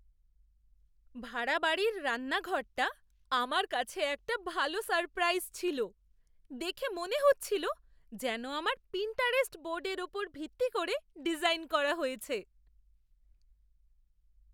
ভাড়া বাড়ির রান্নাঘরটা আমার কাছে একটা ভালো সারপ্রাইজ ছিল। দেখে মনে হচ্ছিল যেন আমার পিন্টারেস্ট বোর্ডের ওপর ভিত্তি করে ডিজাইন করা হয়েছে!